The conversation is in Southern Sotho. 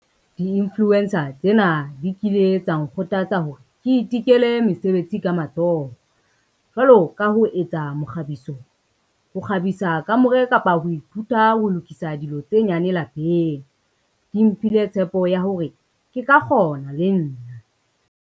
Di-influencer tsena di kile tsa nkgothatsa hore ke ithekele mesebetsi ka matsoho, jwalo ka ho etsa mokgabiso, ho kgabisa kamore kapa ho ithuta ho lokisa dilo tse nyane lapeng, di mphile tshepo ya hore ke ka kgona le nna.